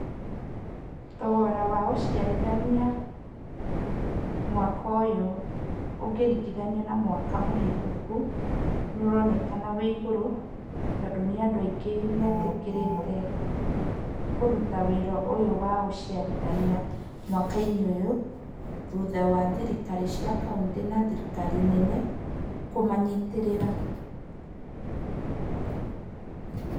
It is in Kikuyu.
Thogora wa ũciarithania mwaka ũyũ ũngĩringithanio na mwaka mũhetũku, nĩ ũronekana wĩ igũrũ tondũ nĩ andũ aingĩ metĩkĩrĩte kũruta wĩra ũyũ wa ũciarithania, mwaki-inĩ ũyũ thutha wa thirikari ya kaũntĩ na thirikari nene kũmanyitĩrĩra .